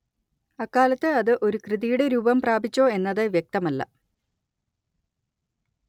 അക്കാലത്ത്‌ അത്‌ ഒരു കൃതിയുടെ രൂപം പ്രാപിച്ചോ എന്നത് വ്യക്തമല്ല